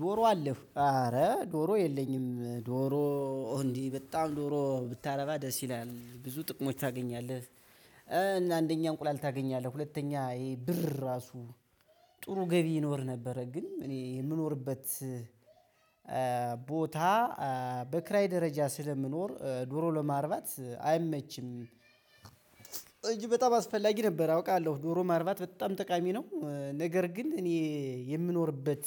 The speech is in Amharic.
ዶሮ አለህ ኧረ ዶሮ የለኝም ዶሮ እንዴ? በጣም ዶሮ ብታረባ ደስ ይላል ብዙ ጥቅሞች ታገኛለህ። አንደኛ እንቁላል ታገኛለህ ሁለተኛ ይሄ ብር እራሱ ጥሩ ገቢ ይኖር ነበረ። ግን እኔ የምኖርበት ቦታ በክራይ ደረጃ ስለምኖር ዶሮ ለማርባት አይመችም። እንጅ በጣም አስፈላጊ ነበር አውቃለሁ ዶሮ ማርባት በጣም ጠቃሚ ነው። ነገር ግን እኔ የምኖርበት